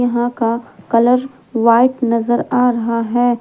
यहां का colour white नजर आ रहा है।